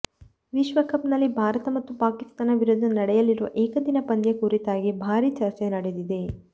ವಿಶ್ವಕಪ್ ನಲ್ಲಿ ಭಾರತ ಮತ್ತು ಪಾಕಿಸ್ತಾನ ವಿರುದ್ಧ ನಡೆಯಲಿರುವ ಏಕದಿನ ಪಂದ್ಯ ಕುರಿತಾಗಿ ಭಾರಿ ಚರ್ಚೆ ನಡೆದಿದೆ